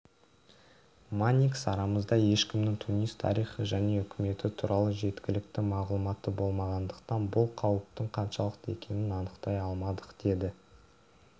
манникс арамызда ешкімнің тунис тарихы және үкіметі туралы жеткілікті мағлұматы болмағандықтан бұл қауіптің қаншалықты екенін анықтай алмадық деді